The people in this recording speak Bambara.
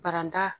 Baranda